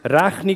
Rechnung